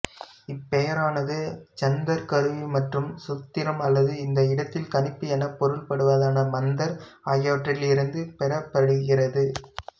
இப்பெயரானது ஜந்தர் கருவி மற்றும் சூத்திரம் அல்லது இந்த இடத்தில் கணிப்பு எனப் பொருள்படுவதான மந்தர் ஆகியவற்றிலிருந்து பெறப்படுகிறது